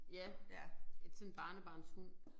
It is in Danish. Ja sådan en barnebarnshund